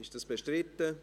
Ist das bestritten?